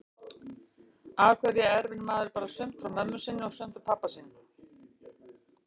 Af hverju erfir maður bara sumt frá mömmu sinni og sumt frá pabba sínum?